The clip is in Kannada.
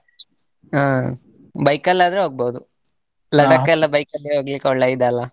ಹಾ bike ಅಲ್ಲಿ ಆದ್ರೆ ಹೋಗ್ಬೋದು. ಎಲ್ಲ bike ಅಲ್ಲಿ ಹೋಗ್ಲಿಕ್ಕೆ ಒಳ್ಳೆ ಇದಲ್ಲ.